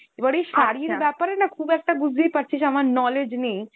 এবার এই শাড়ির ব্যাপারে না খুব একটা বুঝতেই পাড়ছিস আমার knowledge নেই